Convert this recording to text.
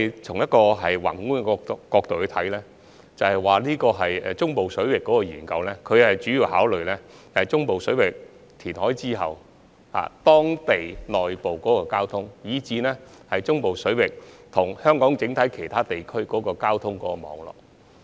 從宏觀角度來看，中部水域人工島相關研究主要考慮中部水域填海後，當地內部交通情況，以至中部水域與香港其他地區的交通網絡。